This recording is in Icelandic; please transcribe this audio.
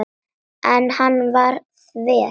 En hann var þver.